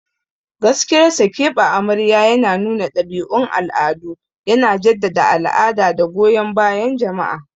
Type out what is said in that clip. Gaskiyar sa, keɓe amarya yana nuna ɗabi'un al'adu, yana jaddada al'ada da goyon bayan jama'a.